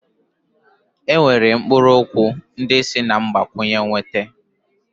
E nwere mkpụrụ okwu ndị esi na mgbakwunye nweta.